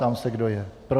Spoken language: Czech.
Ptám se, kdo je pro.